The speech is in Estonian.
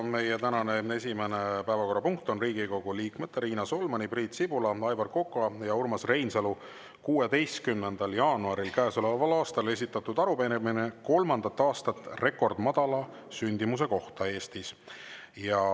Meie tänane esimene päevakorrapunkt on Riigikogu liikmete Riina Solmani, Priit Sibula, Aivar Koka ja Urmas Reinsalu 16. jaanuaril käesoleval aastal esitatud arupärimine kolmandat aastat rekordmadala sündimuse kohta Eestis.